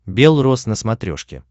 бел роз на смотрешке